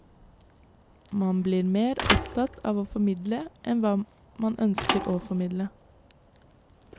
Man blir mer opptatt av å formidle enn av hva man ønsker å formidle.